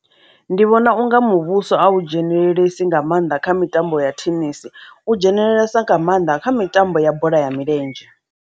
Ndi vhona unga muvhuso u dzhenelelesi nga maanḓa kha mitambo ya thenesi u dzhenelelesa nga maanḓa kha mitambo ya bola ya milenzhe.